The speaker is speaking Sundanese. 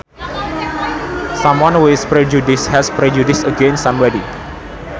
Someone who is prejudiced has prejudice against somebody